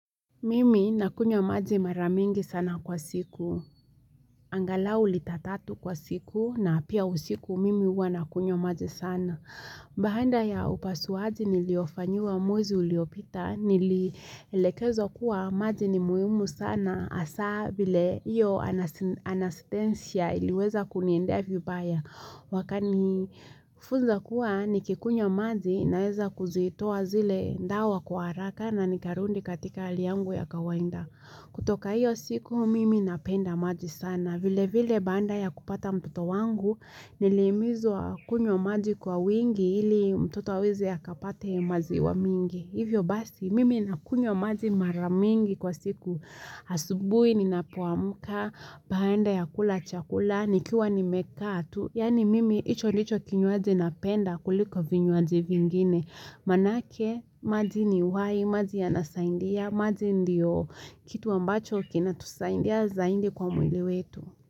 Mimi nakunywa maji mara mingi sana kwa siku. Angalau lita tatu kwa siku na pia usiku mimi huwa nakunywa maji sana. Baada ya upasuaji niliofanyiwa mwezi uliopita nilielekezwa kuwa maji ni muhimu sana hasa vile hiyo anastensia iliweza kuniendea vibaya. Wakanifunza kuwa nikikunywa maji naweza kuzitoa zile dawa kwa haraka na nikarudi katika hali yangu ya kawaida kutoka hiyo siku mimi napenda maji sana vile vile baada ya kupata mtoto wangu nilihimizwa kunywa maji kwa wingi ili mtoto aweze akapate maziwa mingi Hivyo basi mimi nakunywa maji mara mingi kwa siku Asubui ninapoamka, baada ya kula chakula, nikiwa nimekaa tu Yaani mimi hicho ndicho kinywaji napenda kuliko vinywaji vingine Manake, maji ni uhai, maji yanasaidia, maji ndio kitu ambacho kinatusaidia zaidi kwa mwili wetu.